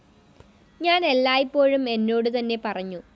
ഞാൻ എല്ലായ്‌പ്പോഴും എന്നോടുതന്നെ പറഞ്ഞു